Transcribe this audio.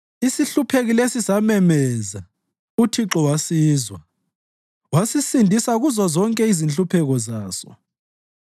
Isihlupheki lesi samemeza, uThixo wasizwa; wasisindisa kuzozonke inhlupheko zaso.